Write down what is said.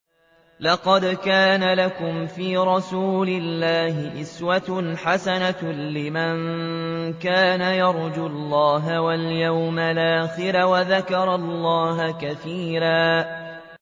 لَّقَدْ كَانَ لَكُمْ فِي رَسُولِ اللَّهِ أُسْوَةٌ حَسَنَةٌ لِّمَن كَانَ يَرْجُو اللَّهَ وَالْيَوْمَ الْآخِرَ وَذَكَرَ اللَّهَ كَثِيرًا